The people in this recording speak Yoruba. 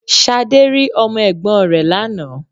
Ṣadé rí Ọmọ Ègbón rè lánàá